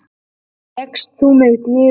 Gekkst þú með Guði.